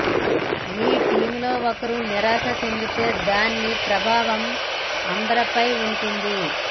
మీ టీమ్లో ఒక్కరు నిరాశ చెందితే దాని ప్రభావం అందరిపై ఉంటుంది